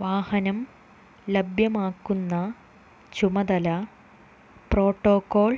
വാഹനം ലഭ്യമാക്കുന്ന ചുമതല പ്രോട്ടോകോൾ